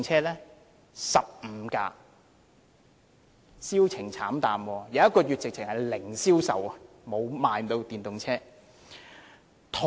是15部，銷情慘淡，某個月簡直是零銷售，沒有電動車被賣出。